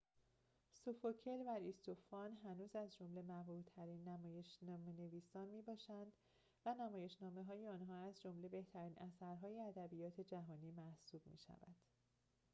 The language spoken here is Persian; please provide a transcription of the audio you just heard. سوفوکل و آریستوفان هنوز از جمله محبوب‌ترین نمایش‌نامه‌نویسان می‌باشند و نمایش‌نامه‌های آنها از جمله بهترین اثرهای ادبیات جهانی محسوب می‌شوند